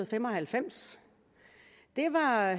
fem og halvfems det var